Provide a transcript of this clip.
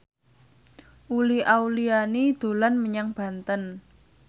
Uli Auliani dolan menyang Banten